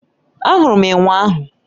Ahụrụ m enwe ahụ